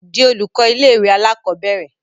di olùkọ́ ilé ìwé àkọ́bẹ̀rẹ̀